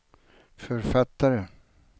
författare